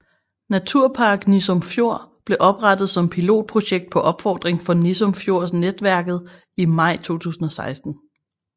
Naturpark Nissum Fjord blev oprettet som pilotprojekt på opfordring fra Nissum Fjord Netværket i maj 2016